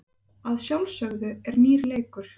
Að sjálfsögðu er nýr leikur.